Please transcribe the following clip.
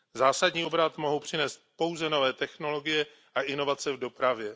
Zásadní obrat mohou přinést pouze nové technologie a inovace v dopravě.